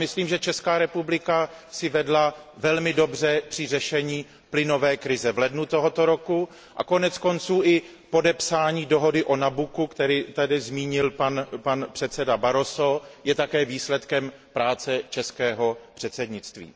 Myslím, že Česká republika si vedla velmi dobře při řešení plynové krize v lednu tohoto roku a koneckonců i podepsání dohody o Nabuccu, které tady zmínil pan předseda Barroso, je také výsledkem práce českého předsednictví.